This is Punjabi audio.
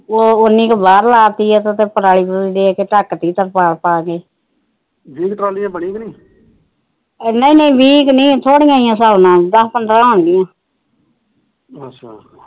ਉਹ ਉਨੀ ਕ ਬਾਹਰ ਲਾਤੀ ਆ ਉਤੇ ਪਰਾਲੀ ਪਰੂਲੀ ਦੇਕੇ ਢਕਤੀ ਤਰਪਾਲ ਪਾਕੇ ਵੀਹ ਕ ਟਰਾਲੀਆਂ ਬਣੀਆਂ ਕ ਨਹੀਂ ਨਹੀਂ ਨਹੀਂ ਵੀਹ ਨੀ ਥੋੜੀਆਂ ਹੀ ਆ ਦਸ ਪੰਦਰਾ